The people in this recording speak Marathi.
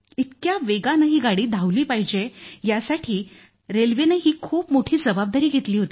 इतक्या वेगानं ही गाडी धावली पाहिजे यासाठी रेल्वेनंही खूप मोठी जबाबदारी घेतली होती